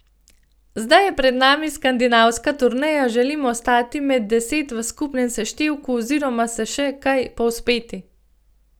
Zdaj je pred nami skandinavska turneja, želim ostati med deset v skupnem seštevku oziroma se še kaj povzpeti.